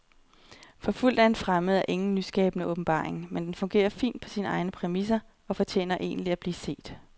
Forfulgt af en fremmed er ingen nyskabende åbenbaring, men den fungerer fint på sine egne præmisser og fortjener egentlig at blive set.